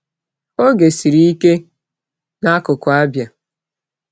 Oge siri ike n’akụkọ Abia!